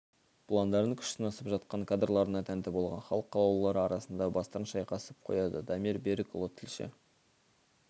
бұландардың күш сынасып жатқан кадрларына тәнті болған халық қалаулылары арасында бастарын шайқасып қояды дамир берікұлы тілші